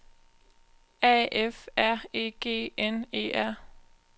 A F R E G N E R